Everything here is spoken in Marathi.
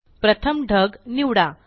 प्रथम ढग निवडा